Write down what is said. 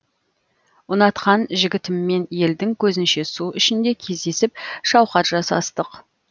ұнатқан жігітіммен елдің көзінше су ішінде кездесіп шауқат жасастық